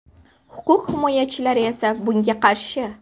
Huquq himoyachilari esa bunga qarshi.